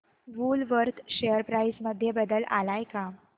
Woolworth share price मध्ये बदल आलाय का